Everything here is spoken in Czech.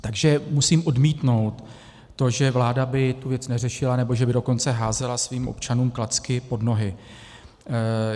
Takže musím odmítnout to, že vláda by tu věc neřešila, nebo že by dokonce házela svým občanům klacky pod nohy.